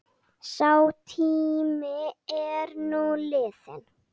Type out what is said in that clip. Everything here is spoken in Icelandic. Sá tími er nú liðinn.